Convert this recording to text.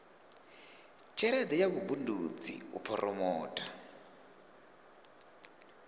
tshelede ya vhubindudzi u phoromotha